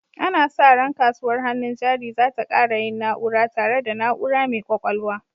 Ana sa ran kasuwar hannun jari za ta ƙara yin na'ura, tare da na'ura mai ƙwaƙwalwa.